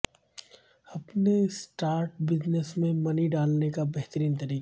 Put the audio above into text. اپنے start business میں money ڈالنے کا بہترین طریقہ